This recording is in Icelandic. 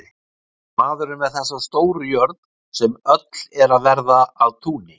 Maður er með þessa stóru jörð, sem öll er að verða að túni.